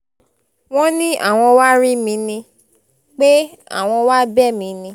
wọ́n ní àwọn wàá rí mi ni pé àwọn wàá bẹ̀ mí ni